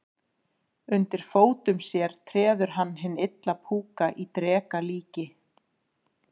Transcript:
Undir fótum sér treður hann hinn illa púka í dreka líki.